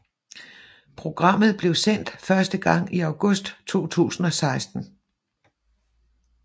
Programmet blev sendt første gang i august 2016